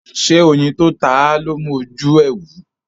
ṣe oyin tó táa lọ mú oju e wú?